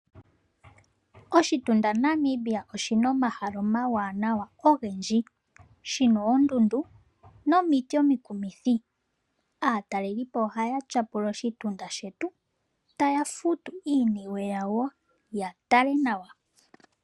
Oshitunda Namibia oshina omahala omawanawa ogendji. Shina oondundu nomiti omikumithi. Aatalelipo ohaya shapula oshitunda shetu taya futu iiniwe yawo ya tale nawa.